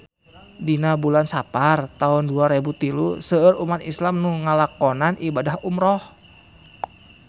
Dina bulan Sapar taun dua rebu tilu seueur umat islam nu ngalakonan ibadah umrah